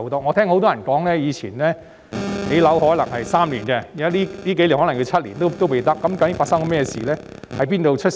我曾聽很多人說以往建樓可能需時3年，但近數年的情況是可能花上7年也未成事。